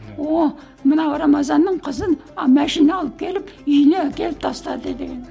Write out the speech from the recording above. мына рамазанның қызын ы машина алып келіп үйіне әкеліп тастады деген